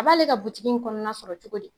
A b'ale ka buigi in kɔnɔna sɔrɔ cogo di?